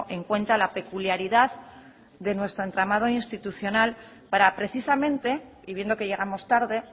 en cuenta la peculiaridad de nuestro entramado institucional para precisamente y viendo que llegamos tarde